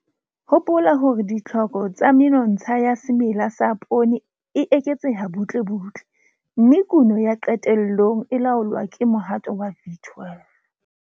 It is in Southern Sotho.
Hopola hore ditlhoko tsa menontsha ya semela sa poone e eketseha butlebutle, mme kuno ya qetellong e laolwa ke mohato wa V12.